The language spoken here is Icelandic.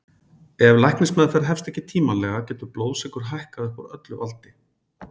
ef læknismeðferð hefst ekki tímanlega getur blóðsykur hækkað upp úr öllu valdi